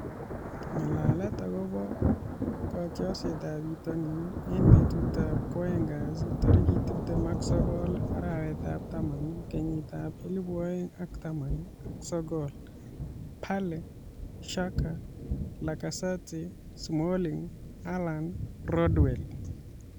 Ng'alalet akobo kotiorsetab bitonin eng betutab Kwoeng kasi tarik tiptem ak sokol, arawetab taman, kenyitab elebu oeng ak taman ak sokol:Bale, Xhaka, Lacazette, Smalling, Haaland, Rodwell